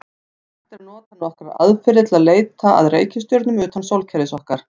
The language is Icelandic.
Hægt er að nota nokkrar aðferðir til að leita að reikistjörnum utan sólkerfis okkar.